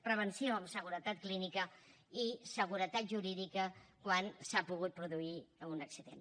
prevenció en seguretat clínica i seguretat jurídica quan s’ha pogut produir un accident